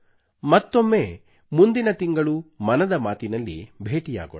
ಮತ್ತೊಮ್ಮೆ ಮುಂದಿನ ತಿಂಗಳು ಮನದ ಮಾತಿನಲ್ಲಿ ಭೇಟಿಯಾಗೋಣ